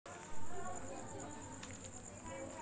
देशातील विद्यापीठांमध्ये पाहिला नाट्यशास्त्र विभाग डॉ.